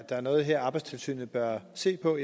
der er noget arbejdstilsynet bør se på